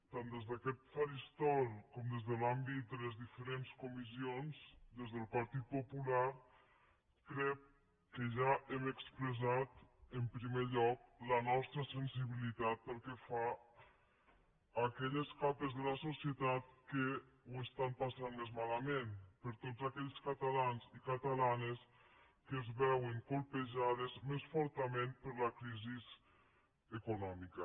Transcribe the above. tant des d’aquest faristol com des de l’àmbit de les diferents comissions des del partit popular crec que ja hem expressat en primer lloc la nostra sensibilitat pel que fa a aquelles capes de la societat que ho passen més malament per tots aquells catalans i catalans que es veuen colpejats més fortament per la crisi econòmica